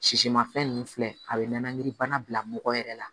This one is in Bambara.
Sisimafɛn ninnu filɛ a bɛ nɛnɛkili bana bila mɔgɔ yɛrɛ la